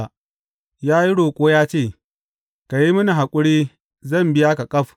Ya yi roƙo ya ce, Ka yi mini haƙuri, zan biya ka ƙaf.’